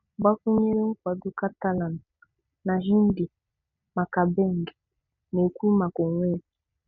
Gbakwunyere nkwado Catalan na Hindi maka Bing – na-ekwu maka onwe ya.